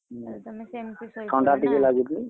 ତାହେଲେ ତମେ ସେମତି ଶୋଇପଡ ନାଁ ଥଣ୍ଡା ଟିକେ ଲାଗୁଛି।